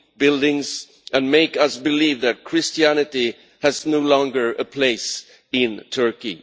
buildings and making us believe that Christianity no longer has a place in Turkey.'